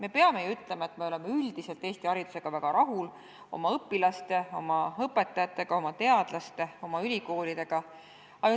Tuleb muidugi öelda, et me oleme üldiselt Eesti haridusega, oma õpilaste ja õpetajatega, oma teadlaste ja ülikoolidega väga rahul.